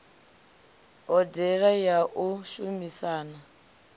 hodea ya u shumisana na